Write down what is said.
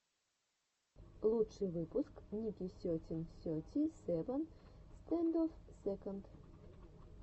лучший выпуск ники сетин сети севен стэндофф сэконд